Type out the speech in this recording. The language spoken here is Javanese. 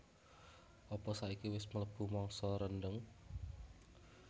apa saiki wes mlebu mangsa rendheng